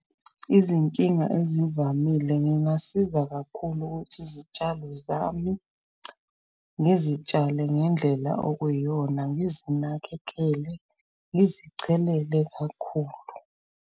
Izinkinga ezivamile ngingasiza kakhulu ukuthi izitshalo zami ngizitshale ngendlela okuyiyona ngizinakekele, ngizichelele kakhulu.